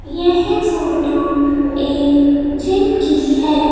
यह फोटो एक जिम की है।